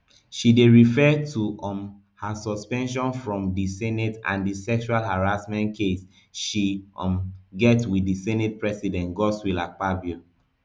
she dey refer to um her suspension from di senate and di sexual harassment case she um get wit di senate president godswill akpabio